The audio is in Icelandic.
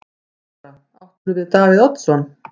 Lára: Áttirðu við Davíð Oddsson?